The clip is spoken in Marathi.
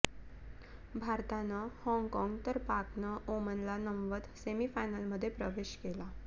भारतानं हॉगकॉंग तर पाकने ओमनला नमवत सेमीफायनलमध्ये प्रवेश केला